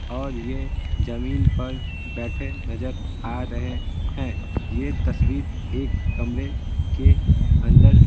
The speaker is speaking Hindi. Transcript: और यह जमीन पर बैठे नजर आ रहे हैं यह तस्वीर एक कमरे के अंदर--